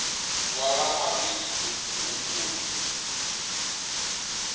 wa va nwabindzu hi wu nkulu